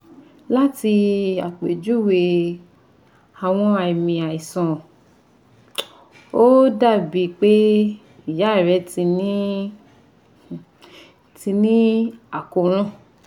Lati apejuwe awọn aami aisan o dabi pe iya rẹ ti ni ti ni akoran